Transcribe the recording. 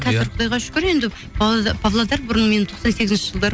қазір құдайға шүкір енді павлодар бұрын мен тоқсан сегізінші жылдары